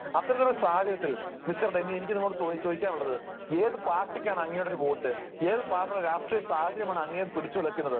അത്തരത്തിലുള്ള ഒരു സാഹചര്യത്തിൽ മിസ്റ്റർ ഡെന്നി, എനിക്ക് നിങ്ങളോട് ചോദിക്കുവാനുള്ളത് ഏതു പാർട്ടിക്കാണ് അങ്ങയുടെ ഒരു വോട്ട്, ഏതു തരത്തിലുള്ള രാഷ്ട്രീയ സാഹചര്യമാണ് അങ്ങയെ പിടിച്ചുലയ്ക്കുന്നത്?